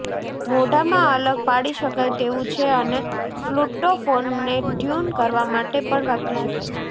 મોઢામાં અલગ પાડી શકાય તેવું છે અને ફ્લુટોફોનને ટ્યુન કરવા માટે પણ વાપરી શકાય છે